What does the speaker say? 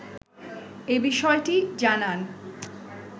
এ বিষয়টি জানান